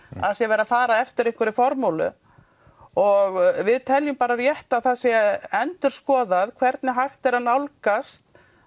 það sé verið að fara eftir einhverri formúlu og við teljum rétt að það sé endurskoðað hvernig hægt er að nálgast